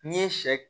N'i ye sɛ